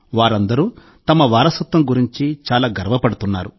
వారందరూ తమ వారసత్వం గురించి చాలా గర్వపడుతున్నారు